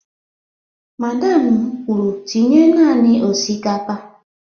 Madam m kwuru tinye naanị osikapa!